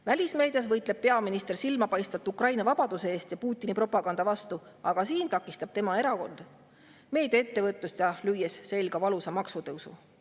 Välismeedias võitleb peaminister silmapaistvalt Ukraina vabaduse eest ja Putini propaganda vastu, aga siin takistab tema erakond meediaettevõtlust, lüües selga valusa maksutõusu.